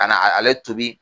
Ka na na ale tuubi.